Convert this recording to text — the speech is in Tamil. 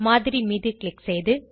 மாதிரி மீது க்ளிக் செய்து